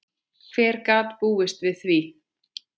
Hver gat búist við því?